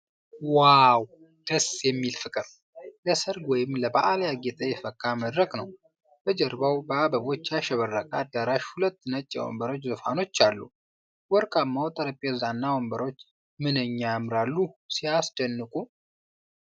"ዋው! ደስ የሚል ፍቅር!" ለሠርግ ወይም ለበዓል ያጌጠ የፈካ መድረክ ነው። በጀርባው በአበቦች ያሸበረቀ አዳራሽ ሁለት ነጭ የወንበር ዙፋኖች አሉ። ወርቃማው ጠረጴዛና ወንበሮች "ምንኛ ያምራሉ!" ፤ "ሲያስደንቁ !"